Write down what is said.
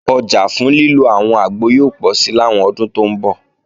Ọjà fún lílo àwọn àgbo yóò pọ̀si làwọn ọdún tó ń bọ̀